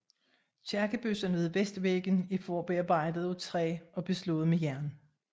Kirkebøssen ved vestvæggen er forarbejdet af træ og beslået med jern